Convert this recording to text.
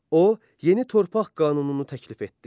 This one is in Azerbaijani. O, yeni torpaq qanununu təklif etdi.